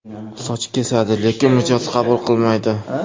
Soch kesadi, lekin mijoz qabul qilmaydi.